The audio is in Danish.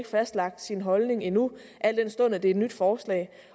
fastlagt sin holdning endnu al den stund at det er et nyt forslag